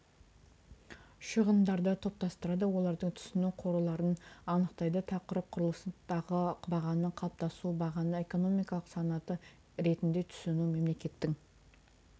шығындарды топтастырады олардың түсу қорларын анықтайды тақырып құрылыстағы бағаның қалыптасуы бағаны экономикалық санаты ретінде түсіну мемлекеттің